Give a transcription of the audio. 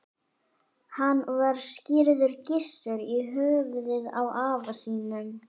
Hann var skírður Gissur, í höfuðið á afa sínum.